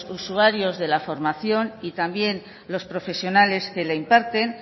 usuarios de la formación y también los profesionales que la imparten